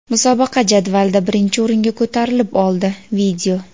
musobaqa jadvalida birinchi o‘ringa ko‘tarilib oldi.